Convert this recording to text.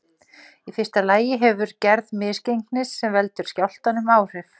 Í fyrsta lagi hefur gerð misgengisins sem veldur skjálftanum áhrif.